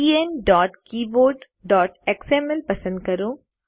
enkeyboardએક્સએમએલ પસંદ કરો